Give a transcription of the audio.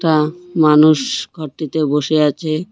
আ মানুষ ঘরটিতে বসে আছে।